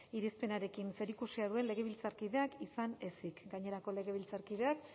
irizpenarekin zerikusia duen legebiltzarkideak izan ezik gainerako legebiltzarkideek